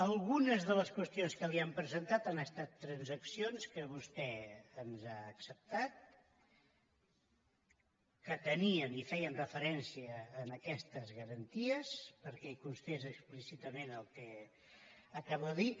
algunes de les qüestions que li hem presentat han es·tat transaccions que vostè ens ha acceptat que tenien i feien referència a aquestes garanties perquè hi cons·tés explícitament el que acabo de dir